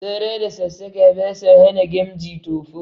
Sara da sassaƙa ba sa hana gamji tofo